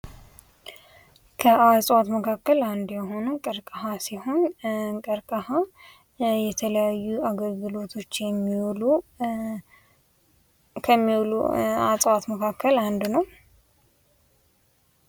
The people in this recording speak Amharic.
ከእፅዋት መካከል አንዱ ቀረቅሃ ሲሆን ቀረቅሃ የተለያዩ አገልግሎት ከሚውሉ እፅዋቶች አንዱ ነው።